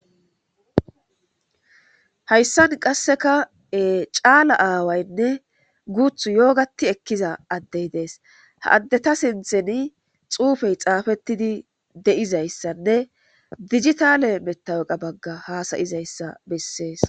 Haysan qase cala awayne guthu yogat ekiza adey Des. Ha adeta sinthan xufey xufetid de'izaysanne dijitale matawoqiya Baga hasa'izaysa beses.